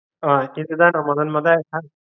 அஹ் இதுதான் நா முதன் மொத